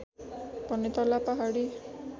भने तल्ला पहाडी